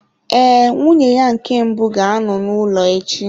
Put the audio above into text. Ee, nwunye ya nke mbụ ga-anọ n'ụlọ echi.